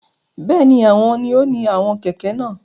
Bẹẹni, awọn ni o ni àwọn kẹkẹ náà